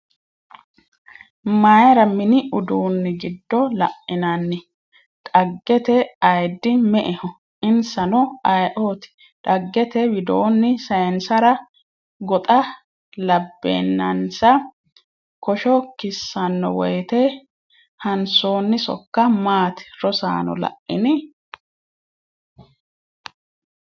Mayra mini udduni gido la'enanni? dhaggete ayiddi me”eho? Insano ayeeooti? Dhaggete widoonni sayinsara goxa labbeennansa kosho kissanno woyte hansoonni sokka maati? Rosaano la’ini?